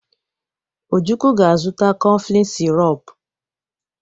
Ojukwu ga-azụta koflịn sirop.